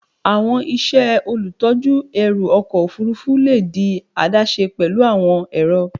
Awọn iṣẹ olutọju ẹru ọkọ ofurufu le di adaṣe pẹlu awọn ẹrọ